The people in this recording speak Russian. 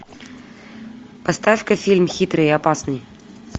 поставь ка фильм хитрый и опасный